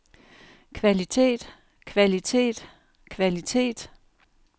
kvalitet kvalitet kvalitet